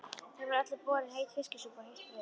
Þeim var öllum borin heit fiskisúpa og heitt brauð.